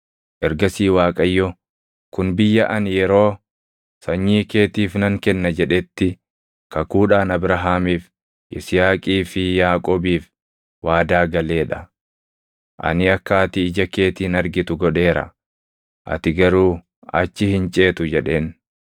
Ergasii Waaqayyo, “Kun biyya ani yeroo, ‘Sanyii keetiif nan kenna’ jedhetti kakuudhaan Abrahaamiif, Yisihaaqii fi Yaaqoobiif waadaa galee dha. Ani akka ati ija keetiin argitu godheera; ati garuu achi hin ceetu” jedheen.